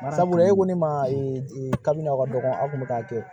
Sabula e ko ne ma kabini a ka dɔgɔn a kun mi k'a kɛ